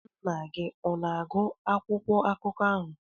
Nna gị ọ na-agụ akwụkwọ akụkọ ahụ?